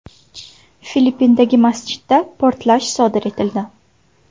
Filippindagi masjidda portlash sodir etildi.